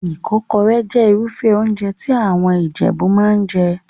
Ìkọ́kọrẹ́ jẹ́ Irúfẹ́ óúnjẹ tí àwọn Ìjẹ̀bú máa ń jẹ